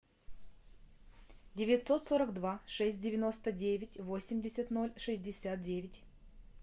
девятьсот сорок два шесть девяносто девять восемьдесят ноль шестьдесят девять